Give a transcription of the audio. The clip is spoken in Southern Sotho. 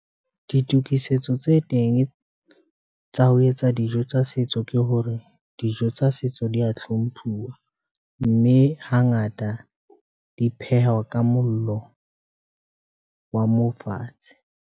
Ditokisetso tse teng tsa ho etsa dijo tsa setso ke hore dijo tsa setso di a hlomphuwa, mme hangata di phehwa ka mollo wa mo fatshe.